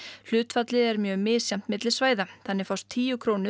hlutfallið er mjög misjafnt milli svæða þannig fást tíu krónur